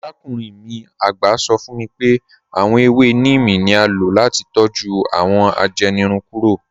Àràkùnrin mi àgbá sọ̀ fún mí pé awọn èwé níímí ni à ló láti tọ́jú awọn ajẹ́nìrùn kúrò.